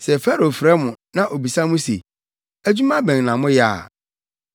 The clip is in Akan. Sɛ Farao frɛ mo, na obisa mo se, ‘Adwuma bɛn na moyɛ a,’